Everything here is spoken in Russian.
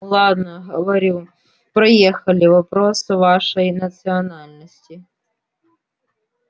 ладно говорю проехали вопрос вашей национальности